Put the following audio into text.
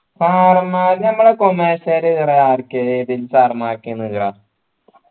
sir മ്മാര് നമ്മളെ commerce കാര് sir മാർക്ക്